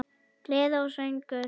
Gleði og söngur.